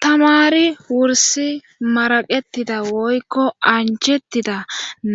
tamari wursi maraqetida woykko anjettida